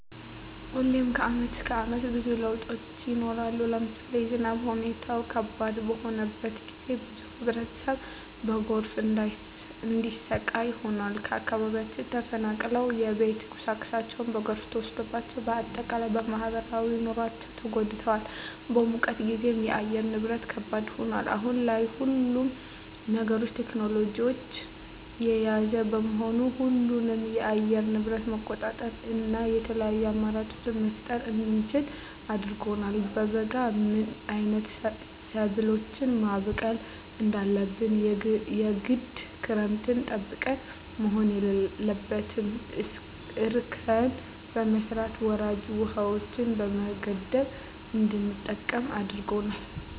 ሁሌም ከአመት እስከ አመት ብዙ ለውጦች ይኖራሉ። ለምሳሌ የዝናብ ሁኔታው ከባድ በሆነበት ጊዜ ብዙ ህብረተሰብ በጎርፍ እንዲሰቃይ ሆኗል። ከአካባቢያቸው ተፈናቅለዋል የቤት ቁሳቁሳቸው በጎርፍ ተወስዷል። በአጠቃላይ በማህበራዊ ኑሯቸው ተጎድተዋል። በሙቀት ጊዜም የአየር ንብረት ከባድ ይሆናል። አሁን ላይ ሁሉም ነገር ቴክኖሎጅን የያዘ በመሆኑ ሁሉንም የአየር ንብረት መቆጣጠር እና የተለያዪ አማራጮች መፍጠር እንድንችል አድርጎናል። በበጋ ምን አይነት ሰብሎችን ማብቀል እንዳለብን የግድ ክረምትን ጠብቀን መሆን የለበትም እርከን በመስራት ወራጅ ውሀዎችን በመገደብ እንድንጠቀም አድርጎናል።